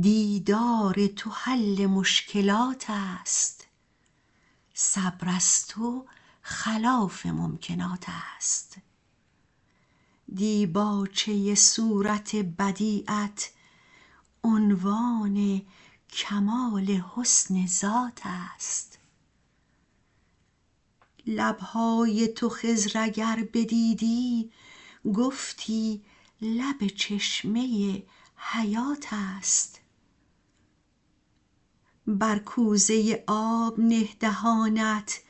دیدار تو حل مشکلات است صبر از تو خلاف ممکنات است دیباچه صورت بدیعت عنوان کمال حسن ذات است لب های تو خضر اگر بدیدی گفتی لب چشمه حیات است بر کوزه آب نه دهانت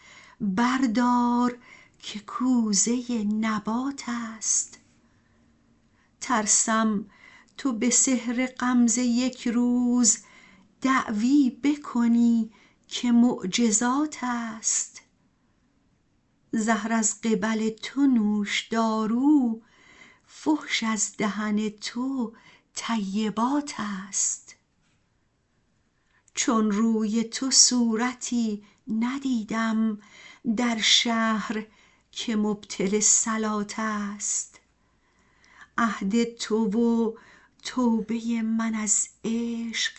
بردار که کوزه نبات است ترسم تو به سحر غمزه یک روز دعوی بکنی که معجزات است زهر از قبل تو نوشدارو فحش از دهن تو طیبات است چون روی تو صورتی ندیدم در شهر که مبطل صلات است عهد تو و توبه من از عشق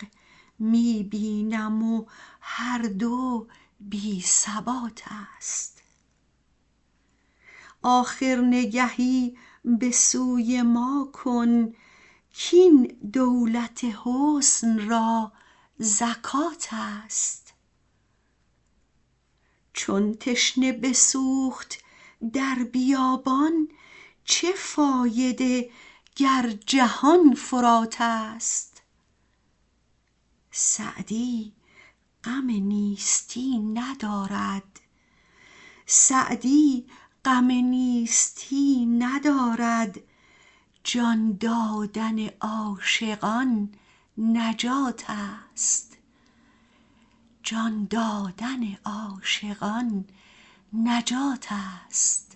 می بینم و هر دو بی ثبات است آخر نگهی به سوی ما کن کاین دولت حسن را زکات است چون تشنه بسوخت در بیابان چه فایده گر جهان فرات است سعدی غم نیستی ندارد جان دادن عاشقان نجات است